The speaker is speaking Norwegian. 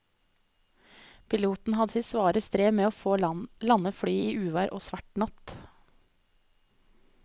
Piloten hadde sitt svare strev med å få landet flyet i uvær og svart natt.